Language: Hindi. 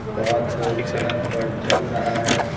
बहुत लोग सड़क पर चल रहा है।